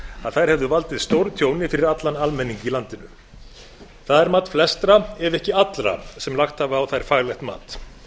að þær hefðu valdið stórtjóni fyrir allan almenning í landinu það er mat flestra ef ekki allra sem lagt hafa á þær faglegt mat